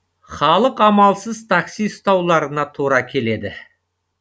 халық амалсыз такси ұстауларына тура келеді